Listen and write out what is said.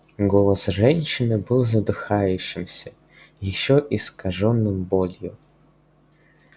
голос женщины был задыхающимся ещё искажённым болью